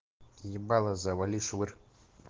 ебало завали швырь